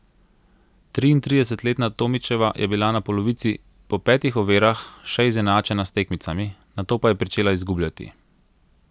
Triintridesetletna Tomičeva je bila na polovici, po petih ovirah, še izenačena s tekmicami, nato pa je pričela izgubljati.